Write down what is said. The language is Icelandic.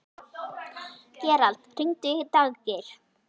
Gerald, hringdu í Daggeir.